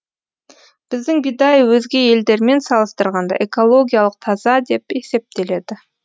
біздің бидай өзге елдермен салыстырғанда экологиялық таза деп есептеледі